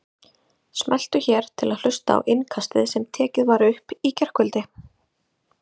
Smelltu hér til að hlusta á Innkastið sem tekið var upp í gærkvöldi